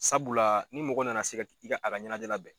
Sabula ni mɔgɔ na na se ka i ka a ka ɲɛnajɛ labɛn.